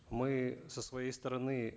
мы со своей стороны